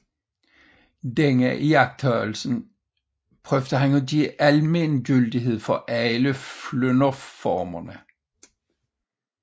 Denne iagttagelse søgte han at give almen gyldighed for alle flynderformer